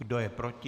Kdo je proti?